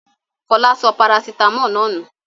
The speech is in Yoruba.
Fọlá sọ parasítámọ̀ náà nù.